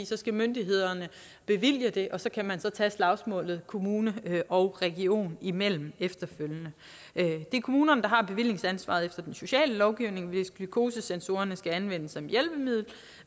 så skal myndighederne bevilge det og så kan man så efterfølgende tage slagsmålet kommune og region imellem det er kommunerne der har bevillingsansvaret efter den sociale lovgivning hvis glukosesensorerne skal anvendes som hjælpemiddel